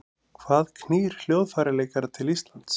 Hvað knýr hljóðfæraleikara til Íslands?